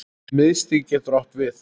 Miðstig getur átt við